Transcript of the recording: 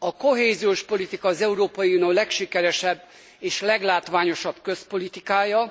A kohéziós politika az Európai Unió legsikeresebb és leglátványosabb közpolitikája.